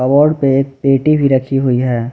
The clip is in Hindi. वॉल पे एक पेटी भी रखी हुई है।